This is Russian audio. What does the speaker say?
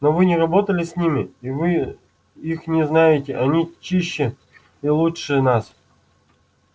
но вы не работали с ними и вы их не знаете они чище и лучше нас